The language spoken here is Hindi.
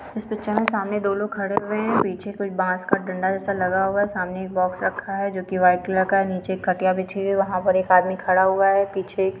इस पिक्चर मे सामने दो लोग खड़े हुए है पीछे कुछ बांस का डंडा जेसा लगा हुआ है सामने एक बॉक्स रखा है जोकि वाईट कलर का है नीचे एक खटिया बिछी हुई है वह पर एक आदमी खड़ा हुआ है पीछे --